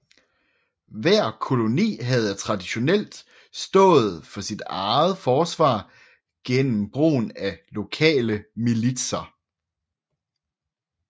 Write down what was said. Hver koloni havde traditionelt stået for sit eget forsvar gennem brugen af lokale militser